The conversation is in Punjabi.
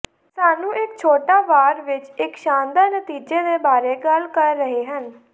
ਸਾਨੂੰ ਇੱਕ ਛੋਟਾ ਵਾਰ ਵਿੱਚ ਇੱਕ ਸ਼ਾਨਦਾਰ ਨਤੀਜੇ ਦੇ ਬਾਰੇ ਗੱਲ ਕਰ ਰਹੇ ਹਨ